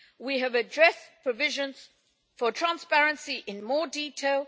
we have addressed provisions for transparency in more detail